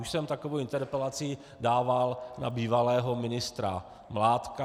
Už jsem takovou interpelaci dával na bývalého ministra Mládka.